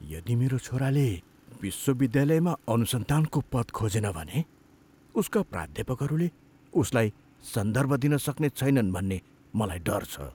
यदि मेरो छोराले विश्वविद्यालयमा अनुसन्धानको पद खोजेन भने, उसका प्राध्यापकहरूले उसलाई सन्दर्भ दिन सक्ने छैनन् भन्ने मलाई डर छ।